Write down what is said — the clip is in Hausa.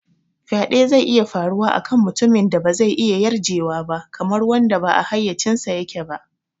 Faɗe zai iya faruwa a kan mutumin da ba zai iya yarjewa ba, kamar wanda ba a hayyacinsa yake ba.